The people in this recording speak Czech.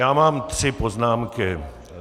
Já mám tři poznámky.